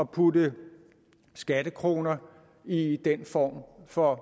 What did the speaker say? putte skattekroner i den form for